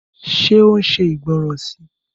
Ṣé ó ṣe ìgbọ́ràn si?